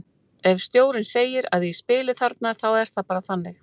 Ef stjórinn segi að ég spili þarna þá er það bara þannig.